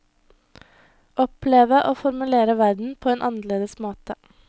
Oppleve og formulere verden på en annerledes måte.